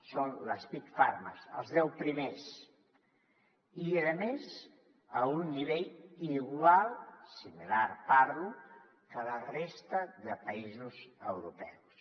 són les big pharma els deu primers i a més a un nivell igual similar parlo que a la resta de països europeus